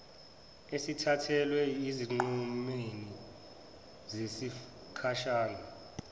esithathelwa ezinqumeni zesikhashana